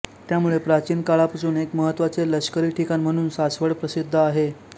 त्यामुळे प्राचीन काळापासून एक महत्त्वाचे लष्करी ठिकाण म्हणून सासवड प्रसिद्ध आहे